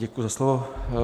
Děkuji za slovo.